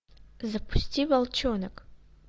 запусти волчонок